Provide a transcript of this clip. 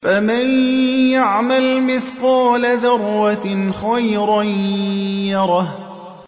فَمَن يَعْمَلْ مِثْقَالَ ذَرَّةٍ خَيْرًا يَرَهُ